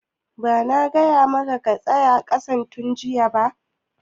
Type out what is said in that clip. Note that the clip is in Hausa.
Ba na gaya maka ka saya ƙasan tun jiya ba?\